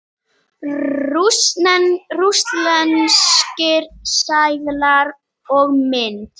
Rússneskir seðlar og mynt.